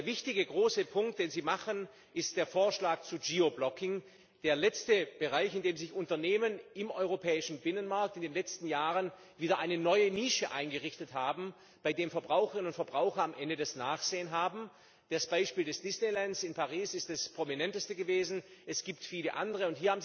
Der wichtige große Punkt, den Sie machen, ist der Vorschlag zum Geoblocking, der letzten Bereich, in dem sich Unternehmen im Europäischen Binnenmarkt in den letzten Jahren wieder eine neue Nische eingerichtet haben, bei dem Verbraucherinnen und Verbraucher am Ende das Nachsehen haben. Das Beispiel des Disneylands in Paris ist das Prominenteste gewesen, es gibt viele andere.